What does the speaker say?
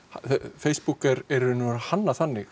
Facebook er hannað þannig